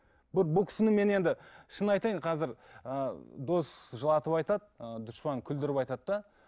бұл кісіні мен енді шынын айтайын қазір ы дос жылатып айтады ы дұшпан күлдіртіп айтады да